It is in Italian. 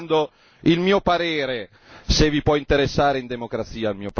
Vi sto dando il mio parere, se vi può interessare in democrazia.